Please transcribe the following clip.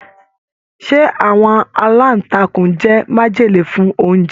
Ṣe àwọn alantakun jẹ májèlé fún oúnjẹ?